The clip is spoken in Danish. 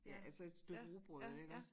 Ja alså et stykke rugbrød iggås